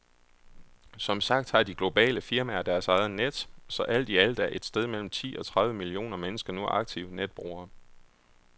Som sagt har de globale firmaer deres egne net, så alt i alt er et sted mellem ti og tredive millioner mennesker nu aktive netbrugere.